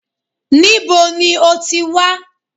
Níbo ní o ti wá?